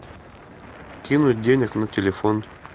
кинуть денег на телефон